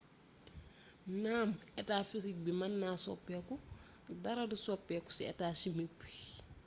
naan etaa fisik bi mën na soppiku dara du soppiku ci etaa chimik bi